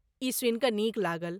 ई सुनि कऽ नीक लागल ।